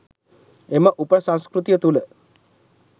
එම උප සංස්කෘතිය තුළ